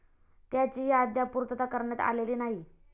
त्याचीही अद्याप पूर्तता करण्यात आलेली नाही.